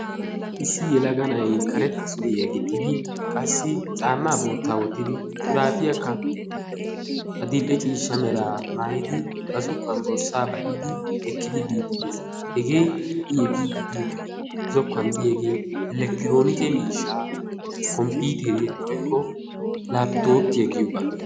Issi yelaga na"ayi karetta suriya gixxidi qassi caammaa boottaa wottidi shuraafiyakka adill"e ciishsha meraa maayidi ba zokkuwan borssaa ba"idi ekkidi biiddi de"es. Hegee i efiiddi diyogee zokkuwan diyagee elekitirooneke miishshaa komppiiteriya woykko laappitooppiya giyoogaa.